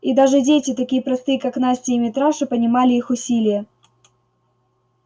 и даже дети такие простые как настя и митраша понимали их усилие